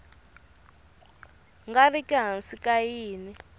nga riki hansi ka yin